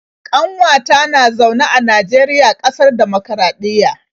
ƙanwata na zaune a Najeriya, ƙasar dimokuraɗiyya